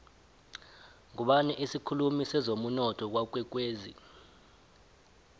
ngubani isikhulumi sezemunotho kwakwekwezi